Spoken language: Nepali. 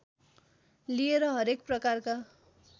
लिएर हरेक प्रकारका